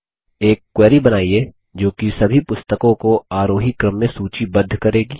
एक क्वेरी बनाइए जोकि सभी पुस्तकों को आरोही क्रम में सूचीबद्ध करेगी